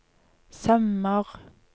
sømmer